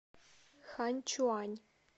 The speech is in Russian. ханьчуань